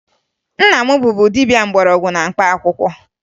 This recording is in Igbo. Nna m bụbu dibia mgbọrọgwụ na mkpaakwụkwọ